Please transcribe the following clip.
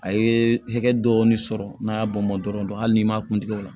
A ye hakɛ dɔɔni sɔrɔ n'a y'a bɔn dɔrɔn hali n'i m'a kun tigɛ o la